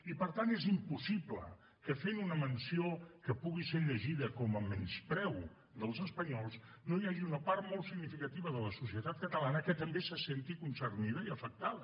i per tant és impossible que fent una menció que pugui ser llegida com a menyspreu dels espanyols no hi hagi una part molt significativa de la societat catalana que també se senti concernida i afectada